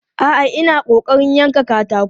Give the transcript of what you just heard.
A'a, ina ƙoƙarin yankan katako.